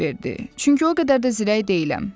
Çünki o qədər də zirək deyiləm.